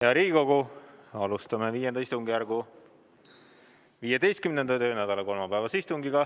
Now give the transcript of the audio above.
Hea Riigikogu, alustame V istungjärgu 15. töönädala kolmapäevast istungit.